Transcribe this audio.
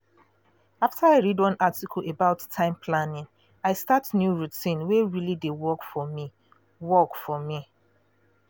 after i read one article about time planning i start new routine wey really dey work for me. work for me.